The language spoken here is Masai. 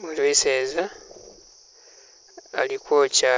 umwiseza ali kwokya